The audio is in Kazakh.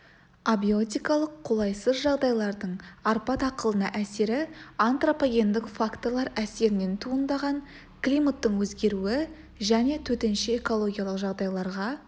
абиотикалық қолайсыз жағдайлардың арпа дақылына әсері антропогендік факторлар әсерінен туындаған климаттың өзгеруі және төтенше экологиялық жағдайларға